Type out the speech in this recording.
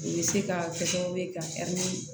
U bɛ se ka kɛ sababu ye ka ni